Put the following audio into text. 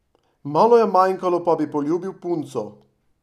Malo je manjkalo, pa bi poljubil punco!